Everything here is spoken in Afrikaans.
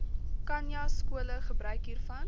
khanyaskole gebruik hiervan